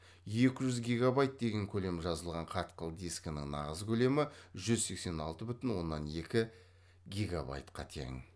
екі жүз гегабайт деген көлем жазылған қатқыл дискінің нағыз көлемі жүз сексен алты бүтін оннан екі гегабайтқа тең